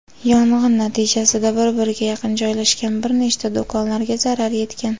Yong‘in natijasida bir-biriga yaqin joylashgan bir nechta do‘konlarga zarar yetgan.